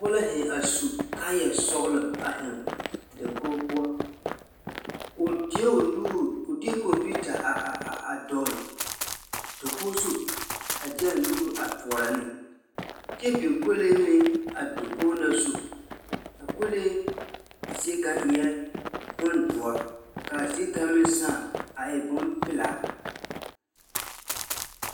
Pͻge la zeŋe a su kaaya sͻgelͻ a zeŋe dakogi poͻ. O deԑ o nuuri, o deԑ kͻmpiita a a a dͻgele dakogi zu a de a nuuri a toͻrͻ ne. kyԑ biŋ kolee meŋ a dakogi na zu. A kolee zie kaŋa eԑ bondõͻre ka a zie kaŋa meŋ sãã a e bompelaa.